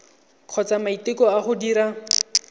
kgotsa maiteko a go dira